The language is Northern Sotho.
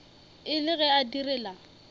e le ge a direla